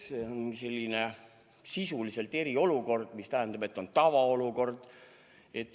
See on sisuliselt eriolukord, mis tähendab, et on tavaolukord.